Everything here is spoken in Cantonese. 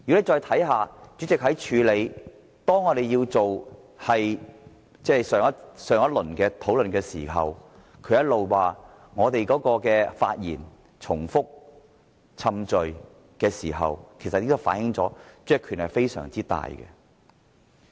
再看看主席如何處理上一輪的討論，他一直說民主派的議員發言重複、冗贅，其實這已經反映主席的權力非常大。